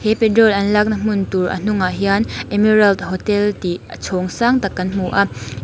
he petrol an lakna hmun tur a hnungah hian emerald hotel tih a chhawng sak tak kan hmu a--